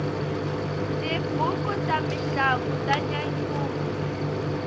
tibuku ta mintlangu ta nyanyula